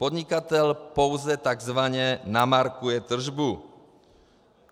Podnikatel pouze takzvaně namarkuje tržbu.